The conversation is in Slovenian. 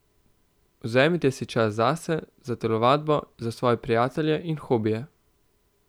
Vzemite si čas zase, za telovadbo, za svoje prijatelje in hobije.